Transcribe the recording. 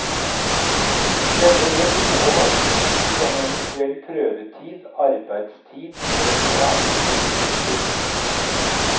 Denne bør inneholde opplysninger om eventuell prøvetid, arbeidstid, lønn og andre betingelser.